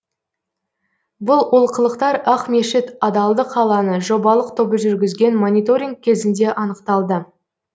бұл олқылықтар ақмешіт адалдық алаңы жобалық тобы жүргізген мониторинг кезінде анықталды